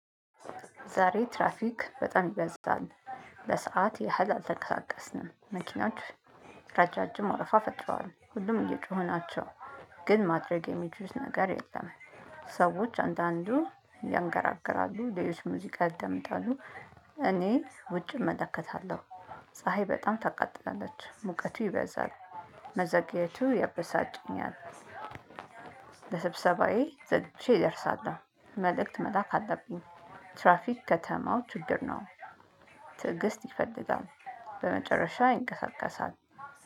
ዛሬ ትራፊክ በጣም ይበዛል። ለሰአት ያህል አልተቀሳቀስነም መኪናዎች ረዣዥም ወረፋ ፈጥረዋል ሁሉም እየጮኹ ናቸው። ግን ማድረግ የሚችሉት ነገር የለም። ሰዎች አንዳንዱ ያንገራግራሉ ሌሎች ሙዚቃ ያደምጣሉ። እኔ ውጭ እመለከታለሁ። ፀሀይ በጣም ታቃጥላለች ሙቀቱ ይበዛል። መዘግየቱ ያበሳጭኛል። ለስብሰባዬ ዘግይቼ እደርሳለሁ መልእክት መላክ አለብኝ። ትራፊክ ከተማው ችግር ነው። ትዕግስት ይፈልጋል። በመጨረሻ ይንቀሳቀሳል